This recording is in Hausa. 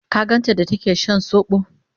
ka ganta da take Shan sobo?